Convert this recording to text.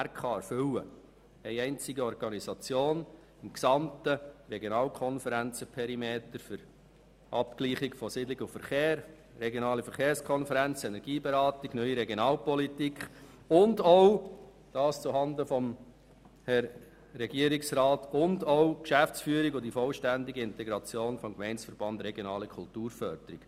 Das heisst, eine einzige Organisation ist im gesamten Regionalkonferenzperimeter für die Abgleichung von Siedlung und Verkehr zuständig, für die Regionale Verkehrskonferenz, die Energieberatung, die NRP und auch, dies zuhanden von Herrn Regierungsrat Neuhaus, die Geschäftsführung und die vollständige Integration des Gemeindeverbands regionale Kulturförderung.